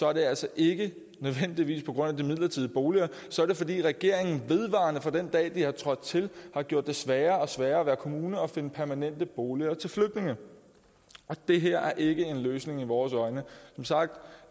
er det altså ikke nødvendigvis på grund af de midlertidige boliger så er det fordi regeringen vedvarende fra den dag har trådt til har gjort det sværere og sværere at være kommune og finde permanente boliger til flygtninge det her er ikke en løsning i vores øjne som sagt